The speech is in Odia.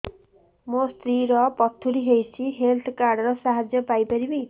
ମୋ ସ୍ତ୍ରୀ ର ପଥୁରୀ ହେଇଚି ହେଲ୍ଥ କାର୍ଡ ର ସାହାଯ୍ୟ ପାଇପାରିବି